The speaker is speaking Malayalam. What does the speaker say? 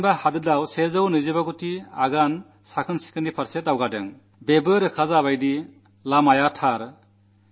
അതിന്റെ അർഥം രാജ്യം ശുചിത്വത്തിലേക്ക് നൂറ്റിയിരുപത്തിയഞ്ചുകോടി ചുവടു വച്ചു എന്നാണ്